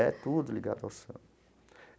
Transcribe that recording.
É tudo ligado ao samba.